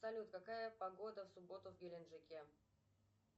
салют какая погода в субботу в геленджике